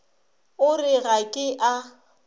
o re ga ke a